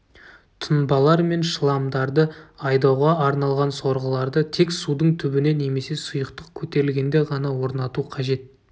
тұнбалар мен шламдарды айдауға арналған сорғыларды тек судың түбіне немесе сұйықтық көтерілгенде ғана орнату қажет